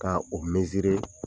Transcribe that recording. Ka o ta